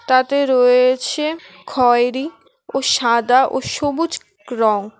তাতে রয়ে-এ-ছে খয়েরি ও সাদা ও সবুজ-ক রঙ।